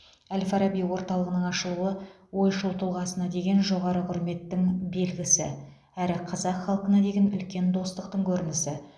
әл фараби орталығының ашылуы ойшыл тұлғасына деген жоғары құрметтің белгісі әрі қазақ халқына деген үлкен достықтың көрінісі